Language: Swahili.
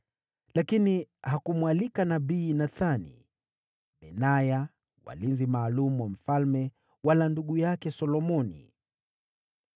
lakini hakumwalika nabii Nathani, Benaya, walinzi maalum wa mfalme, wala ndugu yake Solomoni.